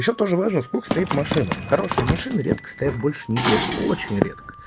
ещё тоже важно сколько стоит машина хорошие машины редко стоят больше недели очень редко